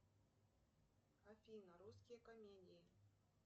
афина русские комедии